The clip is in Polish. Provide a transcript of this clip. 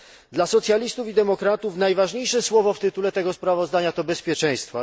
Dla Socjalistów i Demokratów najważniejsze słowo w tytule tego sprawozdania to bezpieczeństwo.